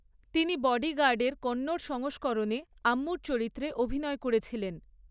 তিনি বডিগার্ডের কন্নড় সংস্করণে আম্মুর চরিত্রে অভিনয় করেছিলেন।